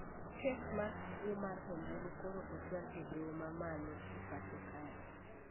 kes mar kuo mar ombulu koro ochwal e doho mamalo e pacho kae